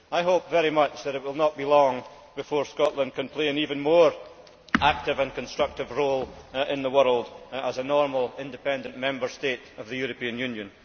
I hope very much that it will not be long before Scotland can play an even more active and constructive role in the world as a normal, independent Member State of the European Union.